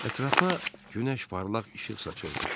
Ətrafa günəş parlaq işıq saçırdı.